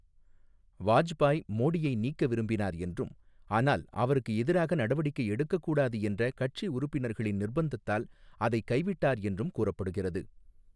வாஜ்பாய் மோடியை நீக்க விரும்பினார் என்றும் ஆனால் அவருக்கு எதிராக நடவடிக்கை எடுக்கக்கூடாது என்ற கட்சி உறுப்பினர்களின் நிர்ப்பந்தத்தால் அதைக் கைவிட்டார் என்றும் கூறப்படுகிறது.